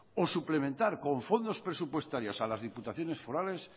o suplementar con fondos presupuestarios a las diputaciones forales